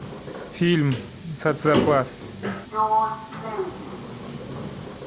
фильм социопат